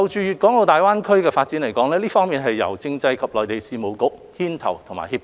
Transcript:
粵港澳大灣區發展是由政制及內地事務局牽頭和協調。